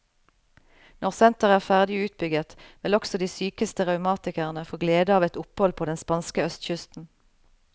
Når senteret er ferdig utbygget, vil også de sykeste revmatikerne få glede av et opphold på den spanske østkysten.